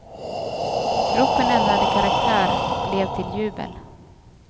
Ropen ändrade karaktär, blev till jubel.